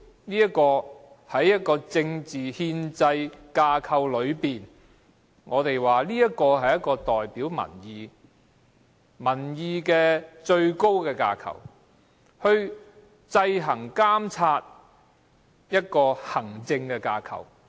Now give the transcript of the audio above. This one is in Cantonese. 在政治憲制架構內，議會就是代表民意的最高架構，是制衡、監察的行政架構。